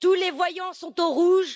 Tous les voyants sont au rouge!